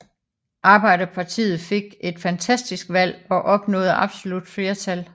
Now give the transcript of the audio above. Arbejderpartiet fik et fantastisk valg og opnåede absolut flertal